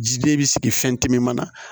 Jiden bɛ sigi fɛn tɛ min na